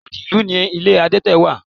Odi ìlú ni ilé adete wà.